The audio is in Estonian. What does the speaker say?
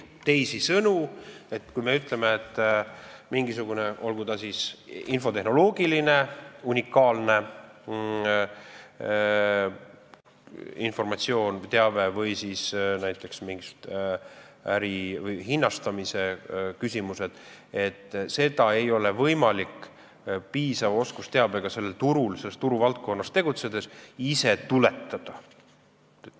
Teisisõnu, mingisugust teavet, olgu ta siis infotehnoloogiline unikaalne informatsioon või olgu need näiteks mingid äri hinnastamise küsimused, ei ole võimalik ka piisava oskusteabe abil selles turuvaldkonnas tegutsedes ise tuletada.